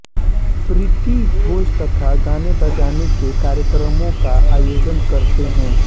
प्रीति भोज तथा गानेबजाने के कार्यक्रमों का आयोजन करते हैं